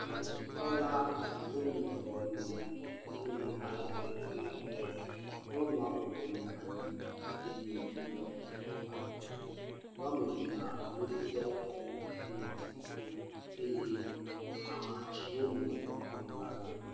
Dɔnɔdzikpɔla nyɔnutɔ le nyɔnu aɖe dom kpɔ. Nyɔnua bɔbɔnɔ anyi eye woɖɔ kuku aɖe. wo ame evea woɖɔ ŋtsiɖiɖi eye amatsiwo nɔ kplɔ la dzi.